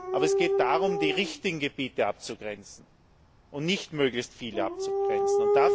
Aber es geht darum, die richtigen Gebiete abzugrenzen, und nicht darum, möglichst viele abzugrenzen.